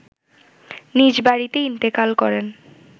নিজ বাড়িতে ইন্তেকাল করেন